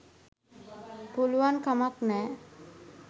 පුළුවන්කමක් නෑ.